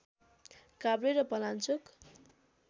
काभ्रे र पलाञ्चोक